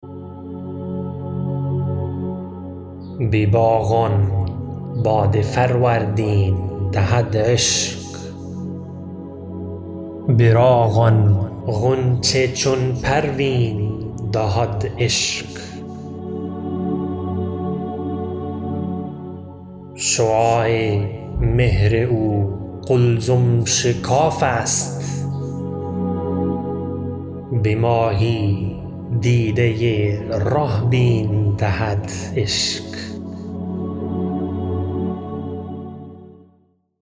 به باغان باد فروردین دهد عشق به راغان غنچه چون پروین دهد عشق شعاع مهر او قلزم شکاف است به ماهی دیده ره بین دهد عشق